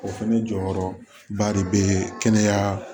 O fɛnɛ jɔyɔrɔba de bee kɛnɛya